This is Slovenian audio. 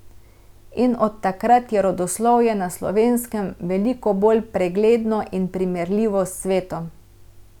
In od takrat je rodoslovje na Slovenskem veliko bolj pregledno in primerljivo s svetom.